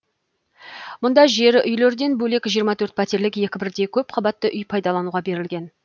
мұнда жер үйлерден бөлек жиырма төрт пәтерлік екі бірдей көпқабатты үй пайдалануға берілген